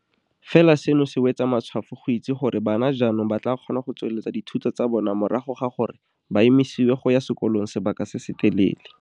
Fela seno se wetsa matshwafo go itse gore bana jaanong ba tla kgona go tsweletsa dithuto tsa bona morago ga gore ba emisiwe go ya sekolong sebaka se se telele.